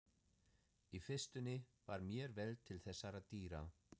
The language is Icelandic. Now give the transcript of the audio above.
Í fyrstunni var mér vel til þessara dýra.